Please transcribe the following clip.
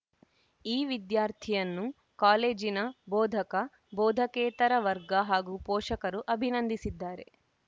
ಈ ವಿದ್ಯಾರ್ಥಿಯನ್ನು ಕಾಲೇಜಿನ ಭೋಧಕ ಭೋದಕೇತರ ವರ್ಗ ಹಾಗೂ ಪೋಷಕರು ಅಭಿನಂದಿಸಿದ್ದಾರೆ